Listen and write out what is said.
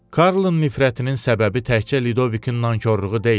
Karlın nifrətinin səbəbi təkcə Ludovikin nankorluğu deyildi.